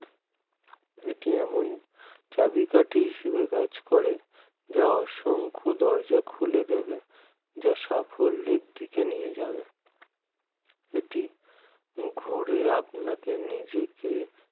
এটি এমন চাবিকাঠি হিসাবে কাজ করে যা অসংখ্য দরজা খুলে দেবে যা সাফল্যের দিকে নিয়ে যাবে এটি ঘুরে আপনাকে নিজেকে